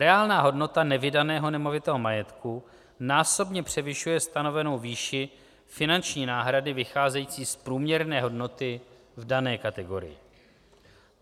Reálná hodnota nevydaného nemovitého majetku násobně převyšuje stanovenou výši finanční náhrady vycházející z průměrné hodnoty v dané kategorii.